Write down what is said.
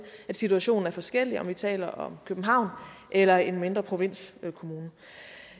at situationen er forskellig om vi taler om københavn eller en mindre provinskommune